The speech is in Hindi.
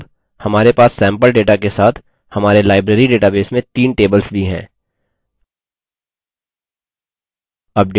अब हमारे पास सैम्पल data के साथ हमारे library database में तीन tables भी हैं